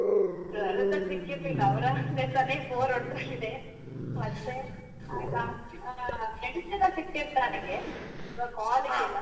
Sir ಎಲ್ಲ ಸಿಕ್ಕಿರ್ಲಿಲ್ಲ ಅವ್ರವರ ಕೆಲ್ಸನೆ bore ಹೊಡೆದೋಗಿದೆ, ಮತ್ತೆ ಅಲ್ಲ ಆ friends ಎಲ್ಲ ಸಿಕ್ತಿರ್ತಾರೆ ನನಿಗೆ call ಗೆಲ್ಲ.